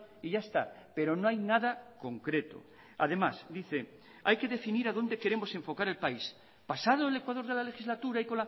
y ya está pero no hay nada concreto además dice hay que definir a donde queremos enfocar el país pasado el ecuador de la legislatura y